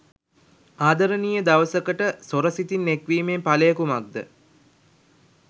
ආදරණීය දවසකට සොර සිතින් එක්වීමේ ඵලය කුමක්ද?